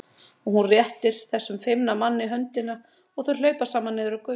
Og hún réttir þessum feimna manni höndina og þau hlaupa saman niður götuna.